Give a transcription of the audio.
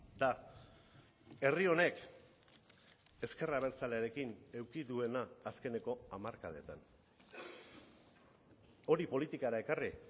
da herri honek ezker abertzalearekin eduki duena azkeneko hamarkadetan hori politikara ekarri